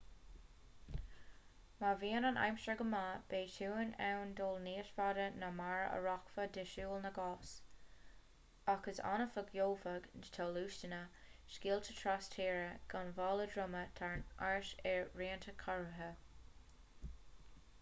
má bhíonn an aimsir go maith beidh tú in ann dul níos faide ná mar a rachfá de shiúl na gcos ach is annamh a gheobhaidh tú luasanna sciála tras-tíre gan mála droma trom ort i rianta cóirithe